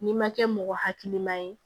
N'i ma kɛ mɔgɔ hakilima ye